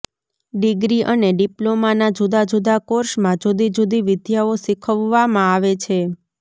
degree અને ડિપ્લોમાના જુદા જુદા કોર્સમાં જુદી જુદી વિદ્યાઓ શિખવાડવામા આવે છે